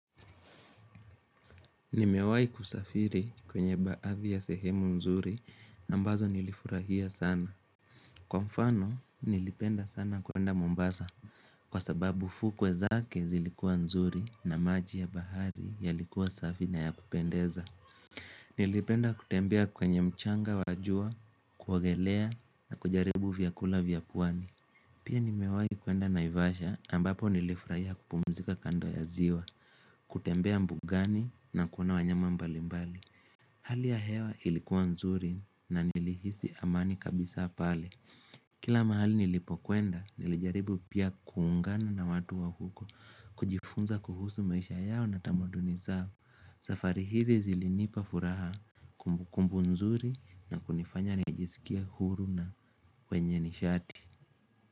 Nimewai kusafiri kwenye baadhi ya sehemu nzuri ambazo nilifurahia sana. Kwa mfano nilipenda sana kuenda Mombasa kwa sababu fukwe zake zilikuwa nzuri na maji ya bahari yalikuwa safi na ya kupendeza. Nilipenda kutembea kwenye mchanga wa jua, kuogelea na kujaribu vyakula vya pwani. Pia nimewai kuenda naivasha ambapo nilifurahia kupumzika kando ya ziwa, kutembea mbugani na kuona wanyama mbalimbali. Hali ya hewa ilikuwa nzuri na nilihisi amani kabisa pale Kila mahali nilipokuenda nilijaribu pia kuungana na watu wa huko kujifunza kuhusu maisha yao na tamaduni zao safari hizi zilinipa furaha kumbukumbu nzuri na kunifanya nijisikia huru na mwenye nishati.